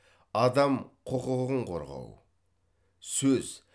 адам құқығын қорғау сөз